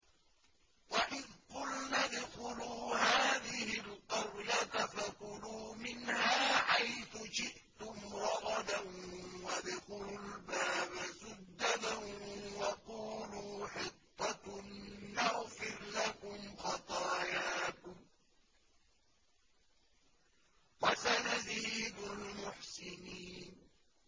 وَإِذْ قُلْنَا ادْخُلُوا هَٰذِهِ الْقَرْيَةَ فَكُلُوا مِنْهَا حَيْثُ شِئْتُمْ رَغَدًا وَادْخُلُوا الْبَابَ سُجَّدًا وَقُولُوا حِطَّةٌ نَّغْفِرْ لَكُمْ خَطَايَاكُمْ ۚ وَسَنَزِيدُ الْمُحْسِنِينَ